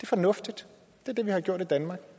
fornuftigt det er det vi har gjort i danmark